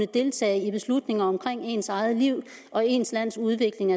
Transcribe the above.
deltage i beslutninger omkring ens eget liv og ens lands udvikling